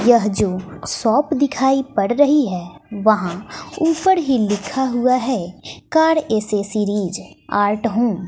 यह जो शॉप दिखाई पड़ रही है वहां ऊपर ही लिखा हुआ है कार एसेसरीज आर्ट होम ।